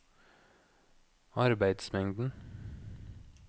arbeidsmengden